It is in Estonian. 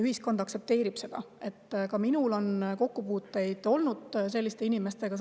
Ka minul on kokkupuuteid olnud selliste inimestega.